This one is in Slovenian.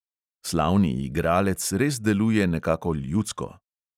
Slavni igralec res deluje nekako ljudsko.